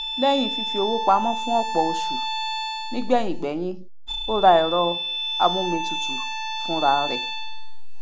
lẹhìn fífí owó pamọ fún ọpọ oṣu nígbẹyìn gbẹyín o ra ẹrọ amómitutù fún ra rẹ